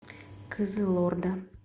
кызылорда